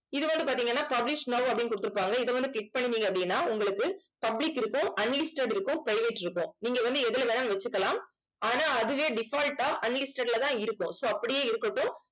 இது வந்து பாத்தீங்கன்னா publish now அப்படின்னு குடுத்திருப்பாங்க இதை வந்து click பண்ணுனீங்க அப்படின்னா உங்களுக்கு public இருக்கும் unlisted இருக்கும் private இருக்கும் நீங்க வந்து எதுல வேணாலும் வச்சுக்கலாம் ஆனா அதுவே default ஆ unlisted லதான் இருக்கும் so அப்படியே இருக்கட்டும்